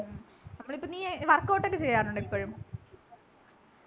അപ്പോൾ ഇപ്പൊ നീ workout ഒക്കെ ചെയ്യാറുണ്ടോ ഇപ്പോളും